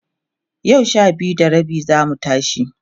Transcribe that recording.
yau Sha biyu da rabi zamu tashi